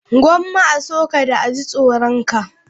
Gomma a so ka, da a ji tsoron ka.